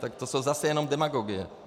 Tak to jsou zase jenom demagogie.